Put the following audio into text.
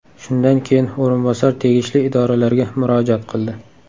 Shundan keyin o‘rinbosar tegishli idoralarga murojaat qildi.